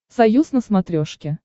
союз на смотрешке